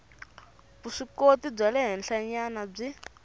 vuswikoti bya le henhlanyana byi